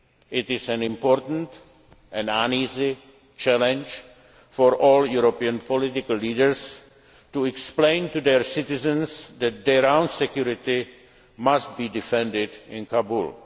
in the region. It is an important, and uneasy, challenge for all European political leaders to explain to their citizens that their own security must be defended